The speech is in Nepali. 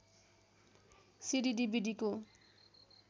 सिडी डिभिडीको